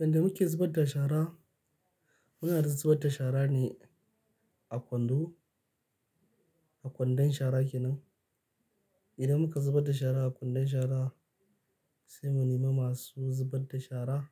Inda muke zubar da shara, muna zubar da shara ne a kwando, a kwandon shara kenan. Idan muka zubar da shara a kwandon shara sai mu nema masu zubar da shara.